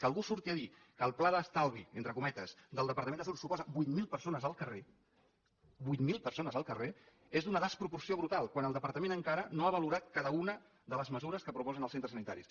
que algú surti a dir que el pla d’estalvi entre cometes del departament de salut suposa vuit mil persones al carrer vuit mil persones al carrer és d’una desproporció brutal quan el departament encara no ha valorat cada una de les mesures que proposen els centres sanitaris